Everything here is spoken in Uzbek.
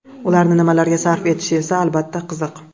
Ularni nimalarga sarf etishi esa albatta, qiziq.